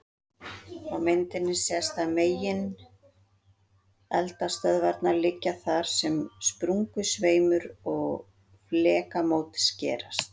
Á myndinni sést að megineldstöðvarnar liggja þar sem sprungusveimur og flekamót skerast.